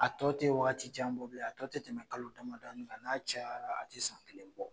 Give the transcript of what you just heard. A tɔ te waati jan bɔ bilen a tɔ te tɛmɛ kalo damadɔni kan n'a cayara a te san kelen bɔ